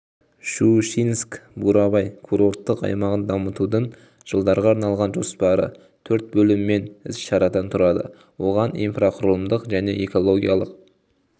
щучинск-бурабай курорттық аймағын дамытудың жылдарға арналған жоспары төрт бөлім мен іс-шарадан тұрады оған инфрақұрылымдық және экологиялық